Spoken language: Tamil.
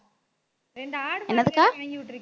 ரெண்டு ஆடு மாடு வாங்கி விட்டுருக்கேன்